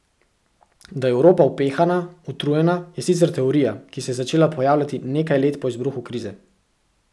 Da je Evropa upehana, utrujena, je sicer teorija, ki se je začela pojavljati nekaj let po izbruhu krize.